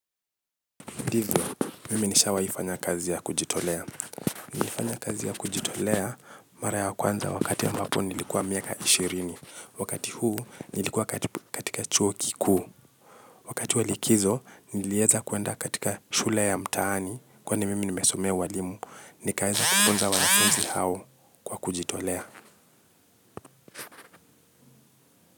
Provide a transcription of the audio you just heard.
Ndivyo, mimi nishawaifanya kazi ya kujitolea. Nilifanya kazi ya kujitolea mara ya kwanza wakati ambapo nilikuwa miaka ishirini. Wakati huu nilikuwa katika chuo kikuu. Wakati wa likizo nilieza kuenda katika shule ya mtaani. Kwani mimi nimesomea uwalimu, nikaeza kifunza wanakunzi hao kwa kujitolea.